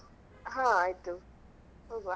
ಹಾ ಆಯ್ತು ಹೋಗ್ವಾ.